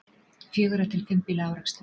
Fjögurra til fimm bíla árekstur